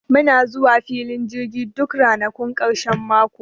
Muna zuwa filin jirgin duk ranakun ƙarshen mako